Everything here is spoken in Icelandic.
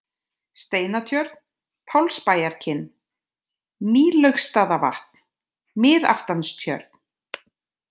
Steinatjörn, Pálsbæjarkinn, Mýlaugsstaðavatn, Miðaftanstjörn